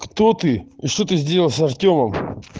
кто ты и что ты сделал с артёмом